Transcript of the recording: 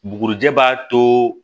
Bugurijɛ b'a to